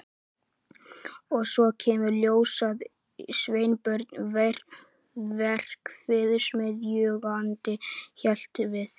Og svo kemur í ljós að Sveinbjörn verksmiðjueigandi hélt við